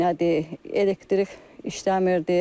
Nədir, elektrik işləmirdi.